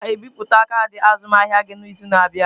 A ga-ebipụta kaadị azụmahịa gị n'izu na-abịa.